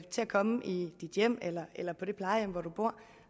komme i sit hjem eller eller på det plejehjem hvor man bor